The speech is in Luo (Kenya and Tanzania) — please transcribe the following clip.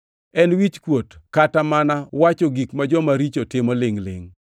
En wichkuot kata mana owacho gik ma joma richo timo lingʼ-lingʼ.